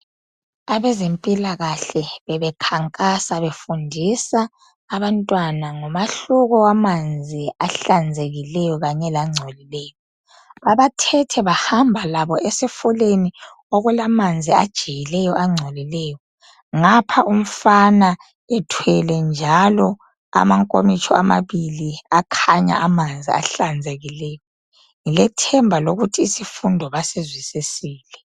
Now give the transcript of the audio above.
Abezempilakahle bebekhankasa befundisa abantwana ngomahluko wamanzi ahlanzekileyo kanye langcolileyo. Babathethe bahamba labo esifuleni okulamanzi ajiyileyo angcolileyo ngapha umfana ethwele njalo amankomitsho amabili akhanya amanzi ahlanzekileyo. Ngilethemba lokuthi isifundo basizwisisile.